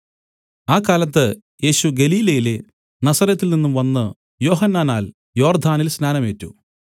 ആ കാലത്ത് യേശു ഗലീലയിലെ നസറെത്തിൽ നിന്നു വന്നു യോഹന്നാനാൽ യോർദ്ദാനിൽ സ്നാനം ഏറ്റു